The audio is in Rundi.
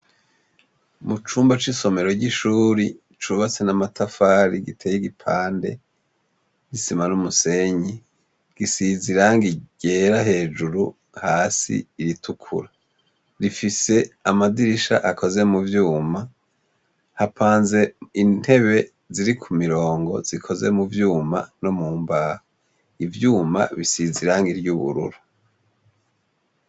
Mu cumba c'isomero ry'ishuri cubatse n'amatafari giteye igipande c' isima n'umusenyi, gisize irangi ryera hejuru hasi iritukura. Rifise amadirisha akoze mu vyuma, hapanze intebe ziri ku mirongo zikoze mu vyuma no mu mbaho. Ivyuma bisize irangi ry' ubururu.